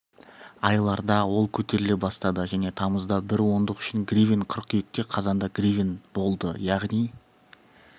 айларда ол көтеріле бастады және тамызда бір ондық үшін гривен қыркүйекте қазанда гривен болды яғни